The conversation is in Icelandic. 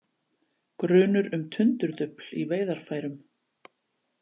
Grunur um tundurdufl í veiðarfærum